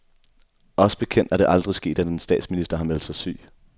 Os bekendt er det aldrig sket, at en statsminister har meldt sig syg.